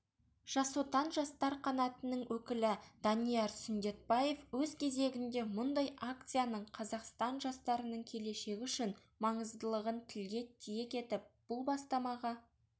жас отан жастар қанатының өкілі данияр сүндетбаев өз кезегінде мұндай акцияның қазақстан жастарының келешегі үшін маңыздылығын тілге тиек етіп бұл бастамаға